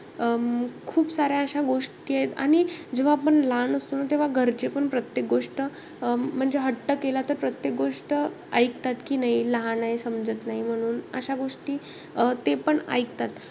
अं खूप साऱ्या अश्या गोष्टी आहेत. आणि जेव्हा आपण लहान असतो ना, तेव्हा घरचे पण प्रत्येक गोष्ट. म्हणजे हट्ट केला तर, प्रत्येक गोष्ट ऐकतात की, नाई लहान आहे समजत नाई म्हणून. अं अशा गोष्टी तेपण ऐकतात.